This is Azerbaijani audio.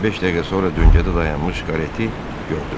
Beş dəqiqə sonra döngədə dayanmış kareti gördülər.